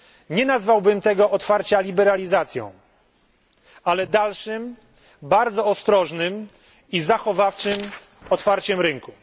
Nie nazwałbym tego otwarcia liberalizacją, ale dalszym, bardzo ostrożnym i zachowawczym otwarciem rynku.